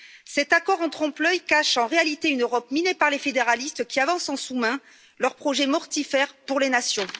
Cet accord en trompe l'œil cache en réalité une Europe minée par les fédéralistes, qui avancent en sous main leur projet mortifère pour les nations.